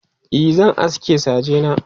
e zan aske saje na